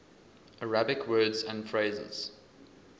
arabic words and phrases